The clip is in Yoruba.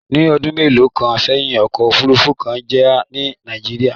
Ní ọdún mélòó kan sẹ́yìn, ọkọ̀ òfuurufú kan jà ní Nàìjíríà